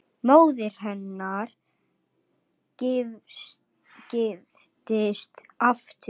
Móðir hennar giftist aftur.